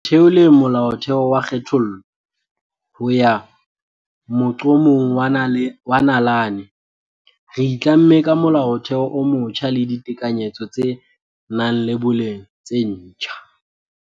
Ho theoleng Molaotheo wa kgethollo ho ya moqo-mong wa nalane, re itlamme ka Molaotheo o motjha le ditekanyetso tse nang le boleng tse ntjha.